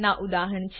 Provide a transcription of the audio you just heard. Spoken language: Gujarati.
ના ઉદાહરણ છે